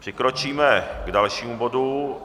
Přikročíme k dalšímu bodu.